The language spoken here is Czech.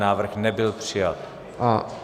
Návrh nebyl přijat.